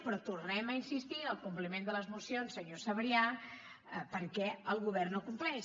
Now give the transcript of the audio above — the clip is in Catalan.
però tornem a insistir en el compliment de les mocions senyor sabrià perquè el govern no compleix